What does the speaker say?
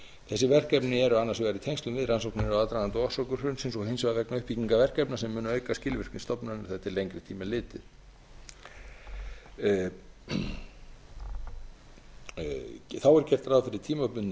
þessi verkefni eru annars vegar í tengslum við rannsóknir og aðdraganda á orsökum hrunsins og hins vegar vegna uppbyggingar verkefna sem munu auka skilvirkni stofnunarinnar þegar til lengri tíma er litið þá er gert ráð fyrir tímabundnu